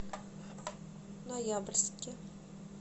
ноябрьске